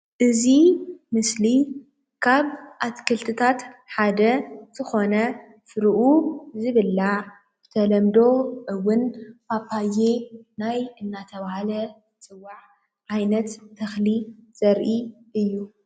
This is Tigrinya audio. እዚ ምስሊ ካብ አትክልቲታት ሓደ ዝኮነ ፍሪኡ ዝብላዕ ብተሎምዶ እውን ፓፓየ ናይ እናተባህለ ዝፅዋዕ ዓይነት ተክሊ ዘሪኢ እዩ፡፡